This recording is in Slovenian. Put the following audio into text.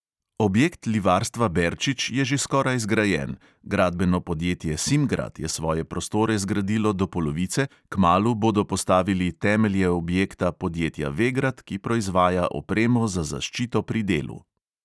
Objekt livarstva berčič je že skoraj zgrajen, gradbeno podjetje simgrad je svoje prostore zgradilo do polovice, kmalu bodo postavili temelje objekta podjetja vegrad, ki proizvaja opremo za zaščito pri delu.